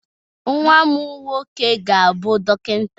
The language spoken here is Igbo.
Nwa m nwoke ga-abụ dọkịta